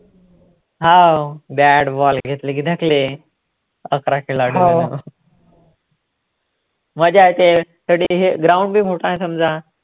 हाव bat ball घेतलं की धकले, अकरा खेळाडु मजा येते थोडी ground बी मोठा समजा